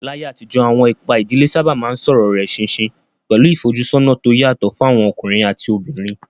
Láyé àtijọ́, àwọn ipa ìdílé sábà máa ń sọ̀rọ̀ rẹ̀ ṣinṣin, pẹ̀lú ìfojúsọ́nà tó yàtọ̀ fún àwọn ọkùnrin àti obìnrin.